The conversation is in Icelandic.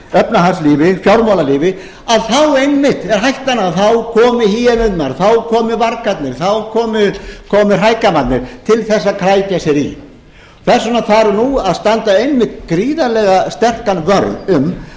efnahagslífi fjármálalífi þá einmitt er hættan á að þá komi hýenurnar þá komi vargarnir þá komi hrægammarnir til þess að krækja sér í þess vegna þarf nú að standa einmitt gríðarlega sterkan vörð um